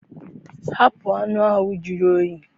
Hapụ anụ ahụ jụrụ oyi!